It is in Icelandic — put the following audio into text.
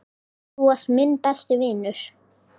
Þú varst minn besti vinur.